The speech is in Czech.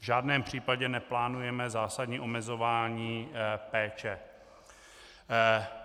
V žádném případě neplánujeme zásadní omezování péče.